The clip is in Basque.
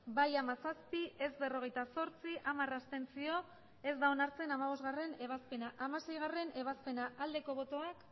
bai hamazazpi ez berrogeita zortzi abstentzioak hamar ez da onartzen hamabostgarrena ebazpena hamaseigarrena ebazpena aldeko botoak